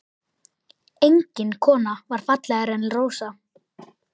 Engin kona var fallegri en Rósa.